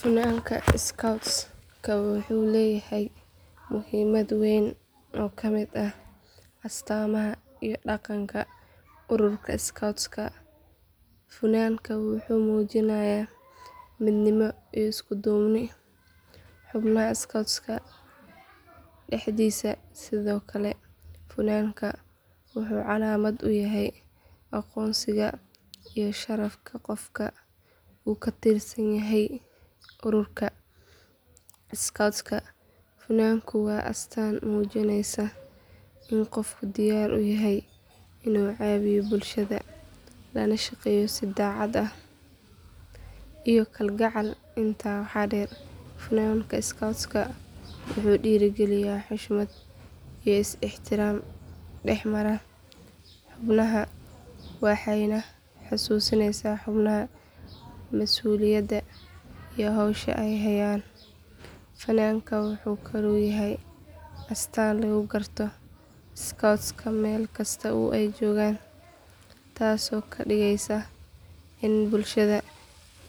Funaanka scouts-ka wuxuu leeyahay muhiimad weyn oo ka mid ah astaamaha iyo dhaqanka ururka scouts-ka funaanku wuxuu muujinayaa midnimo iyo isku duubni xubnaha scouts-ka dhexdiisa sidoo kale funaanka wuxuu calaamad u yahay aqoonsiga iyo sharafka qofka uu ka tirsan yahay ururka scouts-ka funaanku waa astaan muujinaysa in qofku diyaar u yahay inuu caawiyo bulshada lana shaqeeyo si daacad ah iyo kalgacal intaa waxaa dheer funaanka scouts-ka wuxuu dhiirrigeliyaa xushmad iyo is ixtiraam dhex mara xubnaha waxayna xasuusinaysaa xubnaha masuuliyadda iyo hawsha ay hayaan funaanka wuxuu kaloo yahay astaan lagu garto scouts-ka meel kasta oo ay joogaan taasoo ka dhigaysa in bulshada